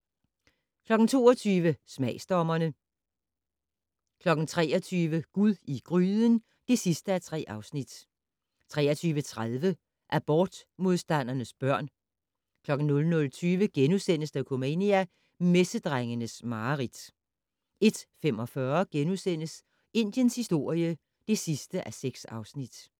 22:00: Selvsmagsdommerne 23:00: Gud i gryden (3:3) 23:30: Abortmodstandernes børn 00:20: Dokumania: Messedrengens mareridt * 01:45: Indiens historie (6:6)*